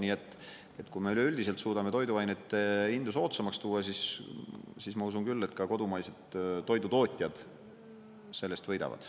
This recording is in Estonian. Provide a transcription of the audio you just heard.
Nii et kui me üleüldiselt suudame toiduainete hindu soodsamaks tuua, siis ma usun küll, et ka kodumaised toidutootjad sellest võidavad.